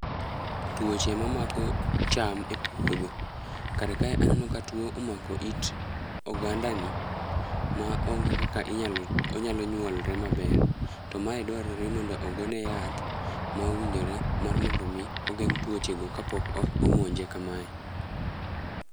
Tuoche ma mako cham e puodho: kar kae aneno ka tuo omako it oganda ni, ma onge kaka inyalo onyalo nyuolore maber. To mae dwarore mondo ogone yath ma owinjore mar mondo mi ogeng' tuoche go kapok omonje kamae.